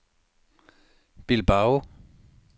Bilbao